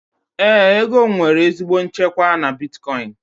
Éè, ego m nwere ezigbo nchekwa na bitkọin